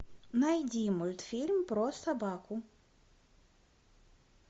найди мультфильм про собаку